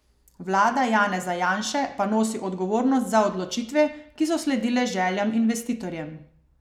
Vlada Janeza Janše pa nosi odgovornost za odločitve, ki so sledile željam investitorjem.